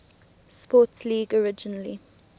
sports league originally